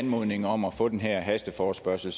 anmodningen om at få den her hasteforespørgsel